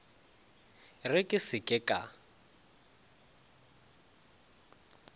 re ke se ke ka